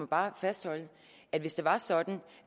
bare fastholde at hvis det var sådan